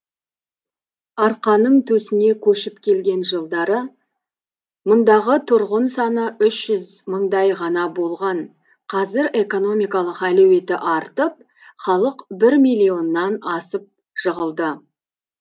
арқаның төсіне көшіп келген жылдары мұндағы тұрғын саны үш жүз мыңдай ғана болған қазір экономикалық әлеуеті артып халқы бір миллионнан асып жығылды